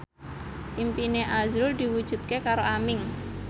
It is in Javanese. impine azrul diwujudke karo Aming